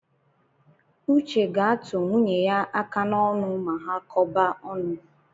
Uche ga-atụ nwunye ya aka n’onụ ma ha kọba ọnụ